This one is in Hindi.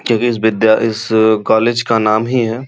क्योंकि इस विद्या इस कॉलेज का नाम ही है।